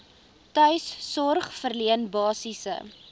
tuissorg verleen basiese